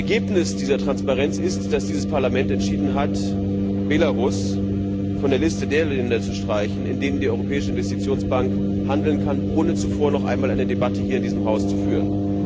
Ein Ergebnis dieser Transparenz ist, dass dieses Parlament entschieden hat, Belarus von der Liste der Länder zu streichen, in denen die Europäische Investitionsbank handeln kann, ohne zuvor noch einmal eine Debatte hier in diesem Haus zu führen.